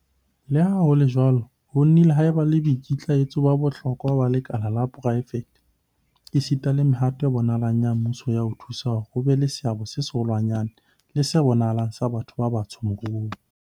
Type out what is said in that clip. Le ha ho le jwalo, ho nnile ha eba le boikitlaetso ba bohlokwa ba lekala la poraefete, esita le mehato e bonahalang ya mmuso ya ho thusa hore ho be le seabo se seholwanyane le se bonahalang sa batho ba batsho moruong.